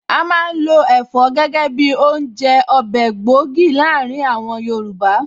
A má ń lo Ẹ̀fọ́ gẹ́gẹ́ bi oúnjẹ/ Ọbẹ̀ gbòógì láàárín àwọn Yorùbá